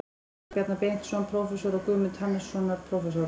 sjá Bjarna Benediktsson, prófessor, og Guðmund Hannesson, prófessor.